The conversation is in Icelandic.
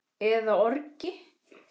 eða orgi.